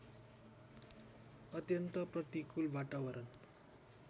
अत्यन्त प्रतिकूल वातावरण